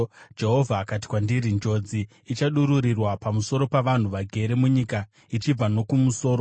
Jehovha akati kwandiri, “Njodzi ichadururirwa pamusoro pavanhu vagere munyika ichibva nokumusoro.